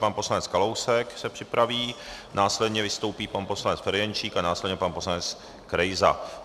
Pan poslanec Kalousek se připraví, následně vystoupí pan poslanec Ferjenčík a následně pan poslanec Krejza.